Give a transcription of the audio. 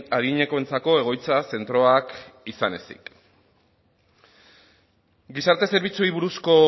adinekoentzako egoitza zentroak izan ezik gizarte zerbitzuei buruzko